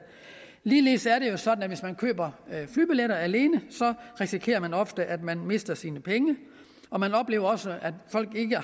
ligeledes er det jo sådan at hvis man køber flybilletter alene så risikerer man ofte at man mister sine penge og man oplever også at folk ikke